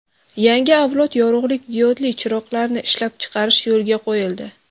Yangi avlod yorug‘lik diodli chiroqlarni ishlab chiqarish yo‘lga qo‘yildi.